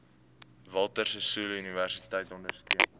walter sisuluuniversiteit ondersteun